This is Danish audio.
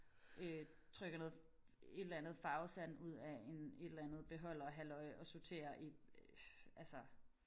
Øh trykker noget et eller andet farvet sand ud af en et eller andet beholderhalløj og sorterer i altså